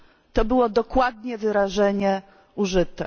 to było dokładnie wyrażenie użyte.